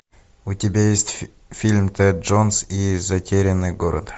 у тебя есть фильм тэд джонс и затерянный город